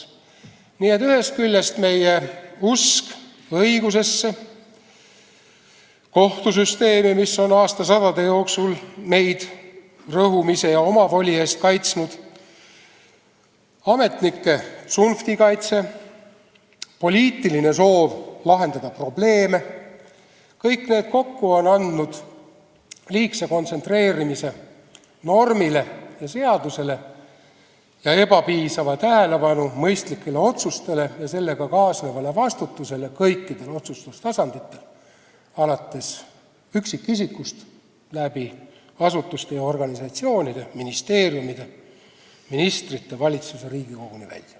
Nii et meie usk õigusesse, kohtusüsteemi, mis on aastasadade jooksul meid rõhumise ja omavoli eest kaitsnud, ametnike tsunftikaitse, poliitiline soov lahendada probleeme – kõik need kokku on tekitanud liigse kontsentreerimise normile ja seadusele ning ebapiisavalt on tähelepanu jagunud mõistlikele otsustele ja sellega kaasnevale vastutusele kõikidel otsustustasanditel, alates üksikisikust, asutustest ja organisatsioonidest, ministeeriumidest, ministritest ja valitsusest kuni Riigikoguni välja.